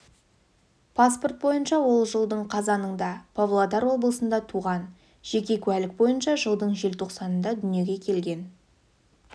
паспорт бойынша ол жылдың қазанында павлодар облысында туған жеке куәлік бойынша жылдың желтоқсанында дүниеге келген